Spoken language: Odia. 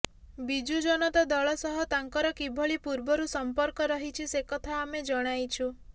ବିଜୁ ଜନତା ଦଳ ସହ ତାଙ୍କର କିଭଳି ପୂର୍ବରୁ ସଂପର୍କ ରହିଛି ସେକଥା ଆମେ ଜଣାଇଛୁ